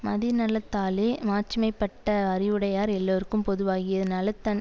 மதிநலத்தாலே மாட்சிமை பட்ட அறிவுடையார் எல்லார்க்கும் பொதுவாகிய நலத்தன்